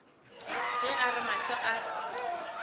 ge a re mahlo a